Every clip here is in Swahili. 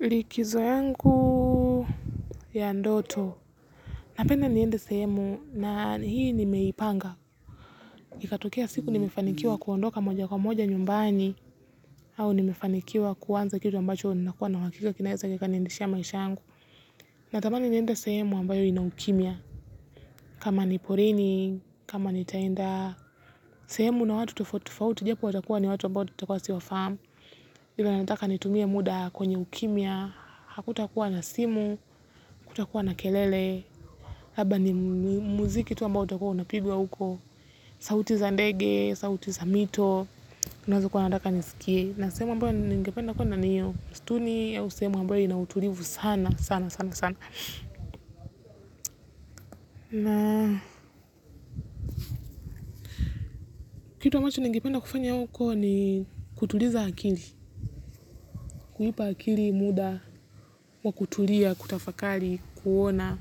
Likizo yangu ya ndoto. Napenda niende sehemu na hii nimeipanga. Ikatokea siku nimefanikiwa kuondoka moja kwa moja nyumbani au ninefanikiwa kuanza kitu ambacho nina uhakika kinaweza niendeshea maisha yangu natamanj niende sehemu ambayo ina ukimya. Kama ni porini, kama nitaenda sehemu na watu tofauti tofauti. Japo wata kuwa ni watu ambayo tutakuwa siwafahamu. Ila nataka nitumie muda kwenye ukimya. Hakuta kuwa na simu, kuta kuwa na kelele haba ni muziki tu ambao utakua una pigwa uko sauti za ndege, sauti za mito ninazo kuwa nataka nisikie na sehemu ambayo ningependa kwaenda ni ya ustuni au sehemu ambayo inautulivu sana sana sana sana na kitu ambacho ningependa kufanya huko ni kutuliza akili, kuipa akili muda wa kutulia, kutafakari, kuona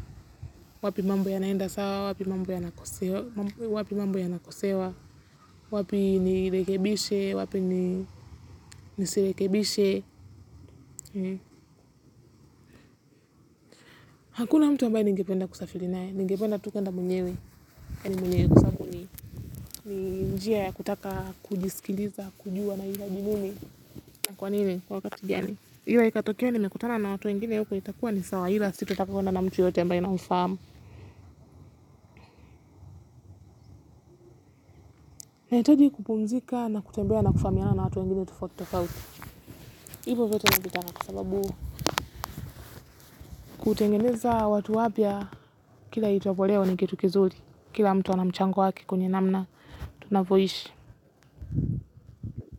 wapi mambo yanaenda sawa, wapi mambo yanakosewa wapi mambo ya nakosewa wapi nirekebishe wapi nisirekebishe hakuna mtu ambaye ningependa kusafiri naye, ningependa tu kwenda mwenyewe yaani mwenyewe kwa sababu ni njia ya kutaka kujisikiliza, kujua na hitaji nini, na kwa nini kwa wakati gani, ila ikatokea nimekutana na watu wengine huko itakuwa ni sawa ila sito taka kwenda na mtu yoyote ambaye na mfahamu na hitaji kupumzika na kutembea na kufahamiana na watu wengine tofauti tofauti hivo vyote navitaka kwa sababu kutengeneza watu wapya. Kila ichwapoleo ni kitu kizuri. Kila mtu anamchango wake kwenye namna tunavyoishi.